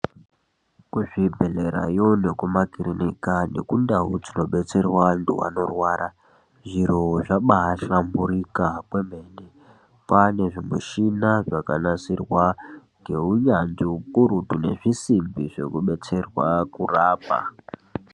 Kuzvibhedhlerayo nekumakirinika nekundau dzinobetserwa antu anorwara zviro zvabahlamburika kwemene. Kwane zvimichina zvakanasirwa ngeunyanzvi hukurutu nezvisimbi zvekubetserwa kurapa.